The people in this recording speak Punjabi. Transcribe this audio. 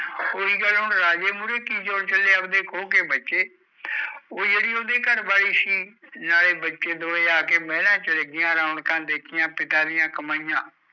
ਓਹੀ ਗੱਲ ਰਾਜੇ ਮੂਰੇ ਕਿ ਜ਼ੋਰ ਚਲਿਆ ਆਵਦੇ ਖੋਕੇ ਬੈਠੇ ਉਹ ਜੇੜੀ ਘਰਵਾਲੀ ਸੀ ਰੌਣਕ ਪਿਤਾ ਦੀਆ ਕਮਾਇਆ